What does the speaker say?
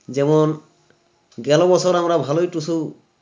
যেমন গেলো বছর আমরা ভালো ই টুসু